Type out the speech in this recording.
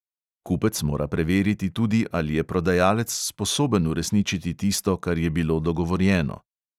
Kupec mora preveriti tudi, ali je prodajalec sposoben uresničiti tisto, kar je bilo dogovorjeno.